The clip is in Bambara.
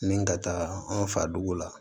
Ni ka taga an fa dugu la